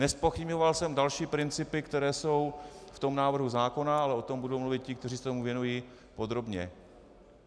Nezpochybňoval jsem další principy, které jsou v tom návrhu zákona, ale o tom budou mluvit ti, kteří se tomu věnují, podrobně.